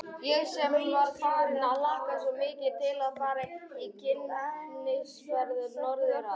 Ég sem var farin að hlakka svo mikið til að fara í kynnisferð norður að